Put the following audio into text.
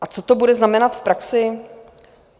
A co to bude znamenat v praxi?